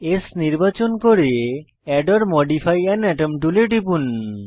S নির্বাচন করে add or modify an atom টুলে টিপুন